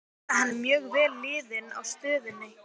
Ég veit að hann er mjög vel liðinn á stöðinni.